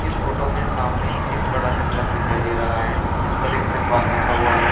इस फोटो में सामने एक बड़ा सा ट्रक दिखाई दे रहा है जिस पर एक तिरपाल बिछा हुआ है।